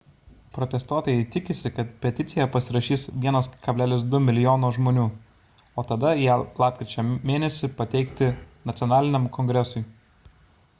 protestuotojai tikisi kad peticiją pasirašys 1,2 mln žmonių o tada ją lapkričio mėn. pateikti nacionaliniam kongresui